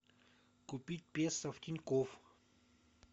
купить песо в тинькофф